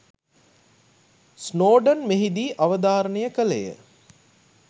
Snowden මෙහිදී අවධාරණය කළේ ය